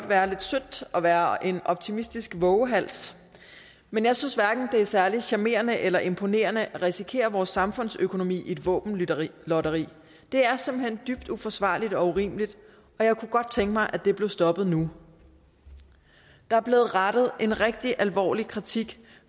være lidt sødt at være en optimistisk vovehals men jeg synes hverken det er særlig charmerende eller imponerende at risikere vores samfundsøkonomi i et våbenlotteri det er simpelt hen dybt uforsvarligt og urimeligt og jeg kunne godt tænke mig at det blev stoppet nu der er blev rettet en rigtig alvorlig kritik